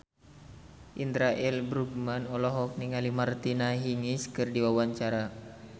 Indra L. Bruggman olohok ningali Martina Hingis keur diwawancara